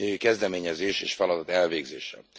kezdeményezés és feladat elvégzése.